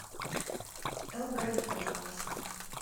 эрл грей пожалуйста